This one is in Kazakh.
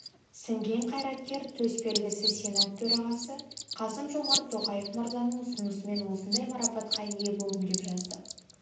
сіңген қайраткер төсбелгісі сенат төрағасы қасым-жомарт тоқаев мырзаның ұсынысымен осындай марапатқа ие болдым деп жазды